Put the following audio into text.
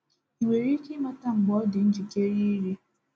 Ị nwere ike ịmata mgbe ọ dị njikere iri?